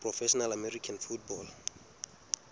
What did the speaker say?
professional american football